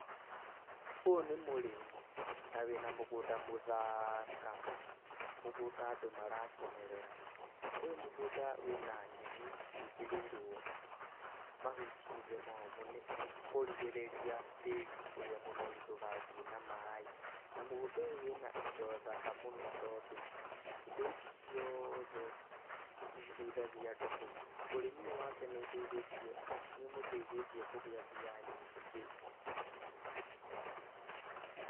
Ũyũ nĩ mũrĩmi na wĩna mũgũnda mũthaka, mũgũnda andũ marakenerera. Ũyũ mũgũnda wĩna nyeni ciĩkĩrĩirwo mahuti thĩ momũ kũrigĩrĩria tĩĩri ũrĩa mũnoru ndũgathiĩ na maĩ. Na mũgũnda ũyũ wĩna indo thaka mũno tondũ indo ici ciothe nĩ citeithagia andũ. Ũrĩmi ũyũ wake nĩ ũteithĩtie, nĩ ũmũteithĩtie kũgĩa mbia nyingĩ.